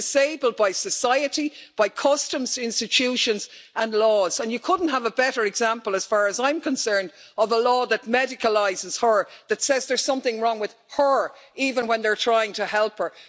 They're disabled by society, by customs, institutions, and laws, and you couldn't have a better example, as far as I am concerned, of a law that medicalises her, that says there's something wrong with her, even when they are trying to help her.